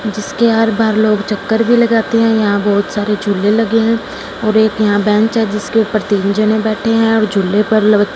जिसके हर बार लोग चक्कर भी लगते हैं यहां बहुत सारे झूले लगे हैं और एक यहां बेंच है जिसके ऊपर तीनों जने बैठे हैं और झूले पर --